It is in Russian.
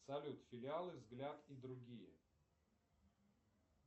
салют филиалы взгляд и другие